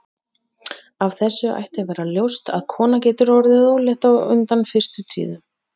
Af þessu ætti að vera ljóst að kona getur orðið ólétt á undan fyrstu tíðum.